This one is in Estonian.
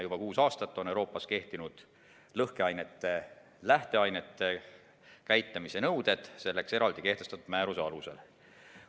Juba kuus aastat on Euroopas kehtinud lõhkeainete lähteainete käitlemise nõuded selleks eraldi kehtestatud määruse alusel.